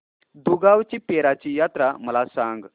दुगावची पीराची यात्रा मला सांग